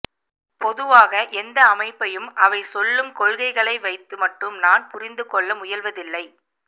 பொதுவாக எந்த அமைப்பையும் அவை சொல்லும் கொள்கைகளை வைத்து மட்டும் நான் புரிந்துகொள்ள முயல்வதில்லை